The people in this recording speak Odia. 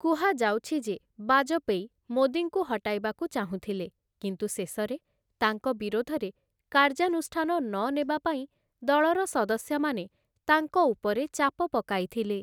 କୁହାଯାଉଛି ଯେ ବାଜପେୟୀ, ମୋଦୀଙ୍କୁ ହଟାଇବାକୁ ଚାହୁଁଥିଲେ, କିନ୍ତୁ ଶେଷରେ ତାଙ୍କ ବିରୋଧରେ କାର୍ଯ୍ୟାନୁଷ୍ଠାନ ନନେବା ପାଇଁ ଦଳର ସଦସ୍ୟମାନେ ତାଙ୍କ ଉପରେ ଚାପ ପକାଇଥିଲେ ।